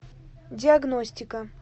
диагностика